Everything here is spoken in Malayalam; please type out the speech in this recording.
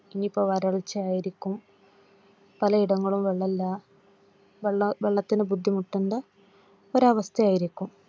ഇനിപ്പോ വരൾച്ച ആയിരിക്കും പലയിടങ്ങളിലും വെള്ളമില്ല. വെള്ളത്തിന് ബുദ്ധിമുട്ടുന്ന ഒരു അവസ്ഥ ആയിരിക്കും.